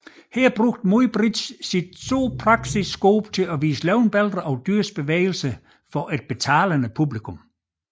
Her bruge Muybridge sit zoopraxiskop til at vise levende billeder af dyrs bevægelser for et betalende publikum